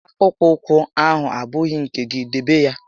Akpụkpọ ụkwụ ahụ abụghị nke gị, debe ya!